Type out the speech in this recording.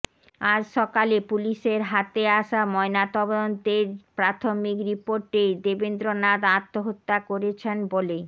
আজ সকালে পুলিশের হাতে আসা ময়নাতদন্তের প্রাথমিক রিপোর্টে দেবেন্দ্রনাথ আত্মহত্যা করেছেন বলেই